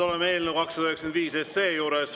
Oleme eelnõu 295 juures.